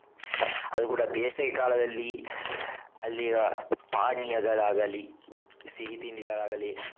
ಅದು ಕೂಡ ಬೇಸಗೆಕಾಲದಲ್ಲಿ ಅಲ್ಲಿಯ ಪಾನಿಯಗಳಾಗಲಿ, ಸಿಹಿ ತಿಂಡಿಗಳಾಗಲಿ.